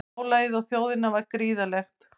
Álagið á þjóðina var gríðarlegt